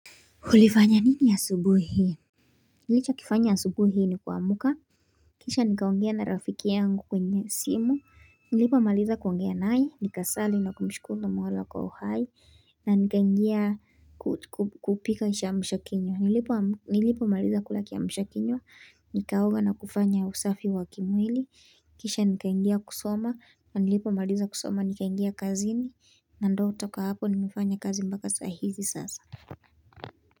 Ulifanya nini asubuhi hii? Nilichokifanya asubuhi hii ni kuamka kisha nikaongea na rafiki yangu kwenye simu nilipomaliza kuongea naye nikasali na kumshukuru Mola kwa uhai na nikaingia kupika kiamsha kinywa nilipomaliza kula kiamsha kinywa nikaoga na kufanya usafi wa kimwili kisha nikaingia kusoma na nilipomaliza kusoma nikaingia kazini na ndo toka hapo nimifanya kazi mpaka saa hizi sasa.